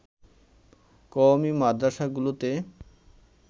কওমী মাদ্রাসাগুলোতে